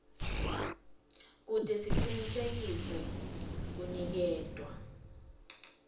kute kucinisekiswe kuniketwa